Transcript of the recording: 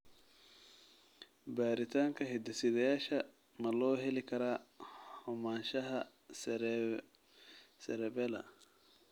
Baaritaanka hidde-sideyaasha ma loo heli karaa xumaanshaha cerebellar?